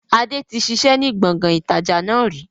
Adé tí ṣiṣẹ́ ni gbọ̀ngàn ìtajà náà rí